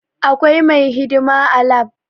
Akwai mai hidima a lab